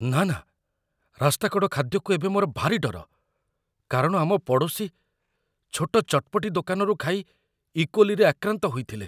ନା ନା, ରାସ୍ତାକଡ଼ ଖାଦ୍ୟକୁ ଏବେ ମୋର ଭାରି ଡର, କାରଣ ଆମ ପଡ଼ୋଶୀ ଛୋଟ ଚଟପଟି ଦୋକାନରୁ ଖାଇ ଇକୋଲିରେ ଆକ୍ରାନ୍ତ ହୋଇଥିଲେ।